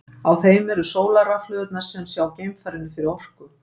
Á þeim eru sólarrafhlöðurnar sem sjá geimfarinu fyrir orku.